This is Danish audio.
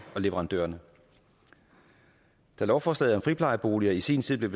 og leverandørerne da lovforslaget om friplejeboliger i sin tid blev